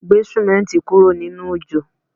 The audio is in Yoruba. Gbé símẹ́ǹti kúrò nínú òjò